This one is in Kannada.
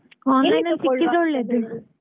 ಅಲ್ಲಿ ಸಿಕ್ಕಿದ್ರೆ ಒಳ್ಳೇದು.